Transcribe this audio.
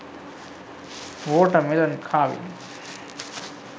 water mellon carving